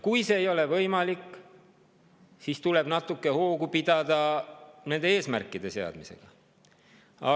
Kui see ei ole võimalik, siis tuleb nende eesmärkide seadmisega natuke hoogu pidada.